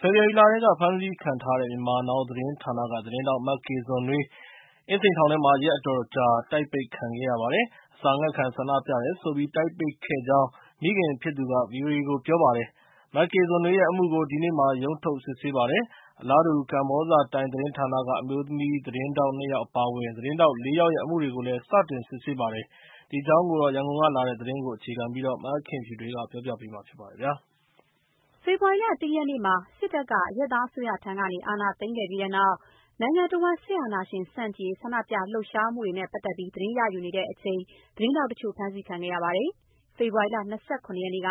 ဖေဖော်ဝါရီလထဲက ဖမ်းဆီးခံခဲ့ရတဲ့ Myanmar Now သတင်းဌာနက သတင်းထောက် မကေနွန်နွေး အင်းစိန်ထောင်ထဲမှာ ရက်တော်တော်ကြာ တိုက်ပိတ်ခံခဲ့ရပါတယ်။ အစာငတ်ခံဆန္ဒပြတယ်ဆိုပြီး တိုက်ပိတ်ခဲ့ကြောင်း မိခင်ဖြစ်သူက ဗွီအိုအေကိုပြောပါတယ်။ မကေဇွန်နွေးရဲ့အမှုကို ဒီနေ့ ရုံးထုတ် စစ်ဆေးပါတယ်။ အလားတူ ကမ္ဘောဇတိုင်းသတင်းဌာနက အမျိုးသမီးသတင်းထောက် နှစယောက်အပါအဝင် သတင်းထောက် ၄ ယောက်ရဲ့အမှုတွေကို စတင်စစ်ဆေးပါတယ်။ ဒီအကြောင်း ရန်ကုန်ကလာတဲ့သတင်းကို မခင်ဖြူထွေးကပြောပြပါမယ်။ ဖေဖော်ဝါရီလ ၁ ရက်နေ့မှာ စစ်တပ်က အရပ်သားအစိုးရဆီကနေ အာဏာသိမ်းခဲ့ပြီးတဲ့နောက် နိုင်ငံတဝန်း စစ်အာဏာသိမ်းဆန့်ကျင်မှုတွေမှာ သတင်းရယူစဉ် သတင်းထောက်တချို့ ဖမ်းဆီးခံခဲ့ရပါတယ်။ ဖေဖော်ဝါရီလ ၂၇ ရက်နေ့က